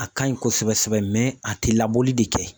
A ka ɲi kosɛbɛ sɛbɛ a tɛ labɔli de kɛ.